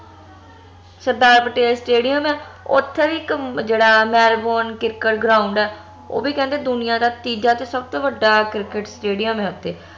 ਸਰਦਾਰ Patel stadium ਆ ਓਥੇ ਵੀ ਇਕ ਜੇਹੜਾ ਮੈਲਬੋਰਨ ਕਿਰਕੇਟ ground ਆ ਓਹ ਵੀ ਕਹਿਦੇ ਦੁਨੀਆਂ ਦਾ ਤੀਜਾ ਤੇ ਸਬਤੋ ਵੱਡਾ ਕਿਰਕੇਟ stadium ਆ ਓਥੇ